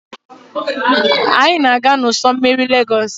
Anyị ga-aga n'ụsọ́ mmiri Lagos.